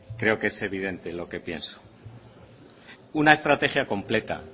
creo que es evidente lo que pienso una estrategia completa